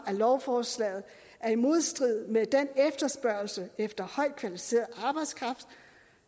at lovforslaget er i modstrid med den efterspørgsel efter højt kvalificeret arbejdskraft